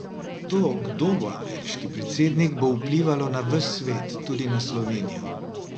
To, kdo bo ameriški predsednik, bo vplivalo na ves svet, tudi na Slovenijo.